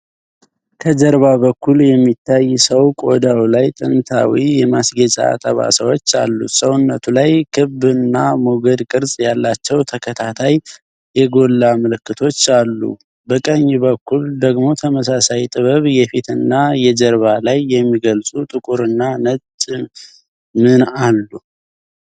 ከጀርባ በኩል የሚታይ ሰው ቆዳው ላይ ጥንታዊ የማስጌጫ ጠባሳዎች አሉት። ሰውነቱ ላይ ክብ እና ሞገድ ቅርፅ ያላቸው ተከታታይ የጎላ ምልክቶች አሉ። በቀኝ በኩል ደግሞ ተመሳሳይ ጥበብ የፊትና የጀርባ ላይ የሚገልፁ ጥቁርና ነጭ ምን አሉ?